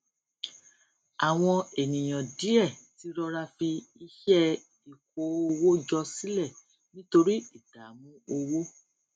àwọn ènìyàn díẹ ti rọra fi iṣẹ ìkó owó jọ sílẹ nítorí ìdààmú owó